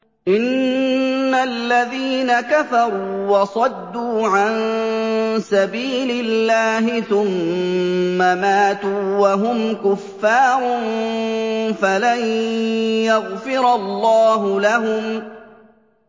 إِنَّ الَّذِينَ كَفَرُوا وَصَدُّوا عَن سَبِيلِ اللَّهِ ثُمَّ مَاتُوا وَهُمْ كُفَّارٌ فَلَن يَغْفِرَ اللَّهُ لَهُمْ